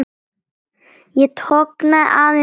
Ég tognaði aðeins í vöðva.